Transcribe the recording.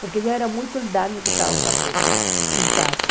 Porque já era muito o dano que estavam fazendo em casa.